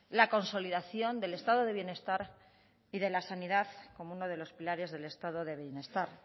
la consolidación del estado de bienestar y de la sanidad como uno de los pilares del estado de bienestar